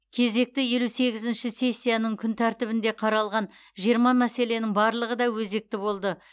кезекті елу сегізінші сессияның күн тәртібінде қаралған жиырма мәселенің барлығы да өзекті болды